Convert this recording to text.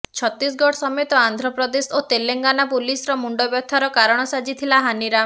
ଛତିଶଗଡ ସମେତ ଆନ୍ଧ୍ରପ୍ରଦେଶ ଓ ତେଲେଙ୍ଗାନା ପୋଲିସର ମୁଣ୍ଡବ୍ୟଥାର କାରଣ ସାଜିଥିଲା ହାନିରାମ